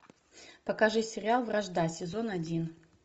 покажи сериал вражда сезон один